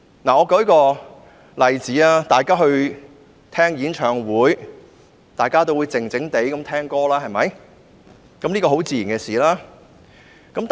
我舉一個例子，大家聽演唱會時，自然會靜靜地聽歌。